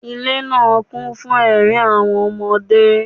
Ile naa kun fun ẹrin awọn ọmọde.